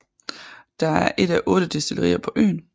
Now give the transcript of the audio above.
Det er et af otte destillerier på øen